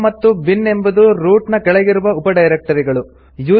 home ಮತ್ತು bin ಎಂಬುದು root ನ ಕೆಳಗಿರುವ ಉಪ ಡೈರೆಕ್ಟರಿಗಳು